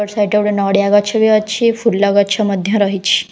ଏପଟ ସାଇଟ୍ ରେ ଗୋଟେ ନଡିଆ ଗଛ ମଧ୍ୟ ଅଛି ଫୁଲ ଗଛ ମଧ୍ୟ ରହିଛି ।